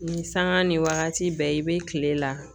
Ni saŋa ni wagati bɛɛ i be kile la